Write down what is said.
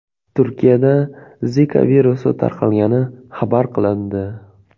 Turkiyada Zika virusi tarqalgani xabar qilindi.